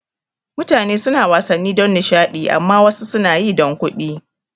Mutane suna wasanni don nishada amma wasu suna yi don kuɗi